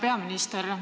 Hea peaminister!